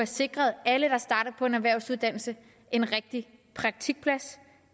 sikret alle der starter på en erhvervsuddannelse en rigtig praktikplads